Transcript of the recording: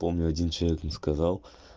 помню один человек мне сказал